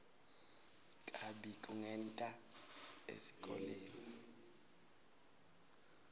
kabi kungeti esikolweni